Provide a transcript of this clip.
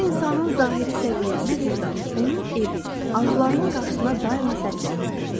Bir insanın zahiri səviyyəsi burda onun evi arzularının qarşısına daima sədd çəkirdi.